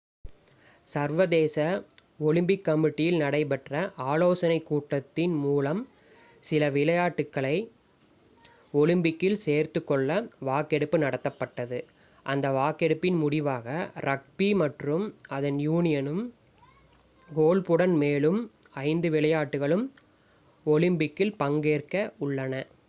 சர்வதேச ஒலிம்பிக் கமிட்டியில் நடைபெற்ற ஆலோசனை கூட்டத்தின் மூலம் சில விளையாட்டுகளை ஒலிம்பிக்கில் சேர்த்துக்கொள்ள வாக்கெடுப்பு நடத்தப்பட்டது அந்த வாக்கெடுப்பின் முடிவாக ரக்பி மற்றும் அதன் யூனியனும் கோல்ஃப் உடன் மேலும் ஐந்து விளையாட்டுகளும் ஒலிம்பிக்சில் பங்கேற்க உள்ளன